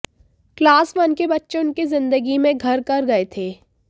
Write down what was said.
class one के बच्चे उनकी जिंदगी में घर कर गए थे